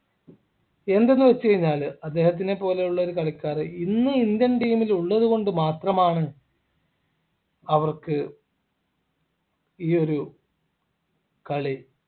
എന്തെന്ന് വെച്ച് കഴിഞ്ഞാൽ അദ്ദേഹത്തിനെ പോലെയുള്ള ഒരു കളിക്കാരൻ ഇന്ന് indian team ൽ ഉള്ളതുകൊണ്ട് മാത്രമാണ് അവർക്ക് ഈയൊരു കളി